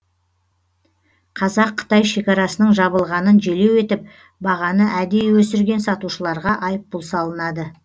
қазақ қытай шекарасының жабылғанын желеу етіп бағаны әдейі өсірген сатушыларға айыппұл салынады